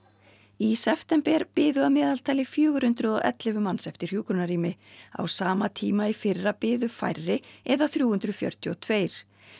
í september biðu að meðaltali fjögur hundruð og ellefu manns eftir hjúkrunarrými á sama tíma í fyrra biðu færri eða þrjú hundruð fjörutíu og tvö